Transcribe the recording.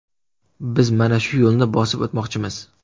Biz mana shu yo‘lni bosib o‘tmoqchimiz.